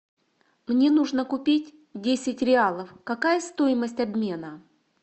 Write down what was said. мне нужно купить десять реалов какая стоимость обмена